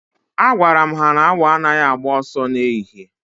Agwaram ha na 'Awọ anaghị agba ọsọ na ehihie'